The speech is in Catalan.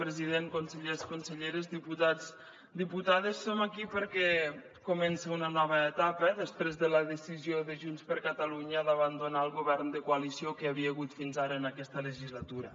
president consellers conselleres diputats diputades som aquí perquè comença una nova etapa després de la decisió de junts per catalunya d’abandonar el govern de coalició que hi havia hagut fins ara en aquesta legislatura